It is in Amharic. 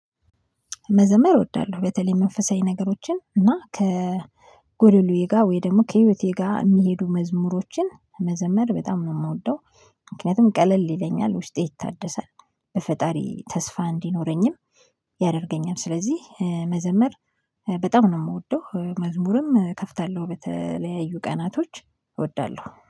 መዘመር እወዳለሁ በተለይ መንፈሳዊ ነገሮችን እና ከጎደሉዬ ጋር ወይ ደግሞ ከህይወቴ ጋር የሚሄዱ መዝሙሮችን መዘመር በጣም ነው የምወደው። ምክንያቱም ቀለል ይለኛል ውስጤ ይታደሳል በፈጣሪ ተስፋ እንዲኖረኝም ያደርገኛል። ስለዚህ መዘመር በጣም ነው የምወደው መዝሙርም እከፍታለሁ በተለያዩ ቀናቶች እወዳለሁ